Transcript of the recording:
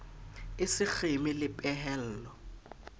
e se kgeme le pehelo